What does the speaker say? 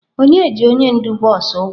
Onye ji onye ndu bọs ụgwọ?